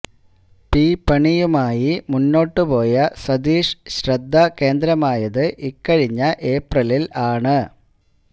P പണിയുമായി മുന്നോട്ട് പോയ സതീഷ് ശ്രദ്ധാകേന്ദ്രമായത് ഇക്കഴിഞ്ഞ ഏപ്രിലില് ആണ്